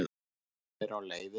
Hún er á leiðinni.